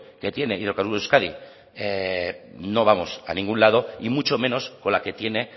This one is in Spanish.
que tiene hidrocarburos euskadi no vamos a ningún lado y mucho menos con la que tiene